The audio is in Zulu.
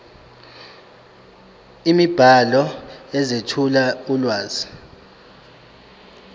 imibhalo ezethula ulwazi